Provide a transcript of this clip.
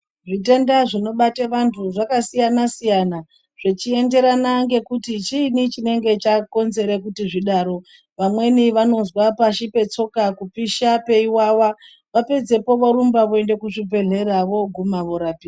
Zvitenda zvinobate vantu zvakasiyana siyana zvechienderana ngekuti chiini chinenge chakonzere kuti zvidaro vamweni vanozwe pashi petsoka kupisha peiwawa vapedzepo vorumba veiende kuzvibhedhlera voguma vorapiwa.